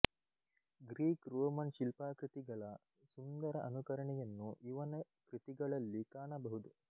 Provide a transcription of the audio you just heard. Greek Roman ಶಿಲ್ಪಾಕೃತಿಗಳ ಸುಂದರ ಅನುಕರಣೆಯನ್ನು ಇವನ ಕೃತಿಗಳಲ್ಲಿ ಕಾಣಬಹುದು